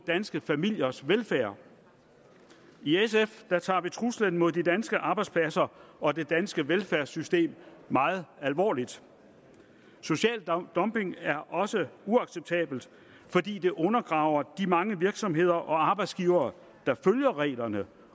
danske familiers velfærd i sf tager vi truslen mod de danske arbejdspladser og det danske velfærdssystem meget alvorligt social dumping er også uacceptabelt fordi det undergraver de mange virksomheder og arbejdsgivere der følger reglerne